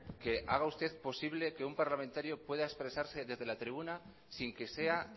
que haga usted posible que un parlamentario pueda expresarse desde la tribuna sin que sea